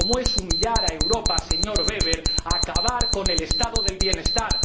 Como es humillar a Europa, señor Weber, acabar con el Estado del bienestar.